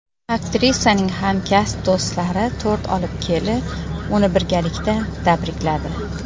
Aktrisaning hamkasb do‘stlari tort olib kelib, uni birgalikda tabrikladi.